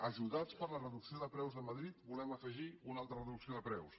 ajudats per la reducció de preus de madrid volem afegir una altra reducció de preus